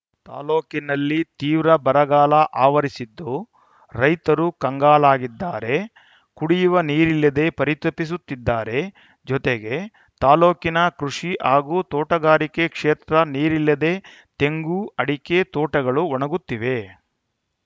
ತಾಲೂಕಿನಲ್ಲಿ ತೀವ್ರ ಬರಗಾಲ ಅವರಿಸಿದ್ದು ರೈತರು ಕಂಗಾಲಾಗಿದ್ದಾರೆ ಕುಡಿಯುವ ನೀರಿಲ್ಲದೆ ಪರಿತಪಿಸುತ್ತಿದ್ದಾರೆ ಜೊತೆಗೆ ತಾಲೂಕಿನ ಕೃಷಿ ಹಾಗೂ ತೋಟಗಾರಿಕೆ ಕ್ಷೇತ್ರ ನೀರಿಲ್ಲದೆ ತೆಂಗು ಅಡಿಕೆ ತೋಟಗಳು ಒಣಗುತ್ತಿವೆ